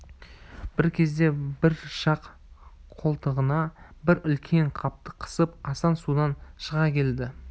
бір кезде бір жақ қолтығына бір үлкен қапты қысып асан судан шыға келді